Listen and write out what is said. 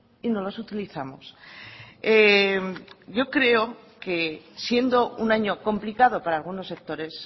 y no los utilizamos yo creo que siendo un año complicado para algunos sectores